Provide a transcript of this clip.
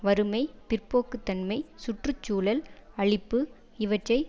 வறுமை பிற்போக்குத்தன்மை சுற்று சூழல் அழிப்பு இவற்றை